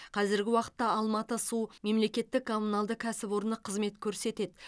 қазіргі уақытта алматы су мемлекеттік коммуналдық кәсіпорны қызмет көрсетеді